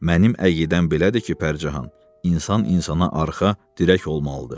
Mənim əqidəm belədir ki, Pərcahan, insan insana arxa, dirək olmalıdır.